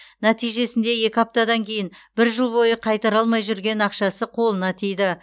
нәтижесінде екі аптадан кейін бір жыл бойы қайтара алмай жүрген ақшасы қолына тиді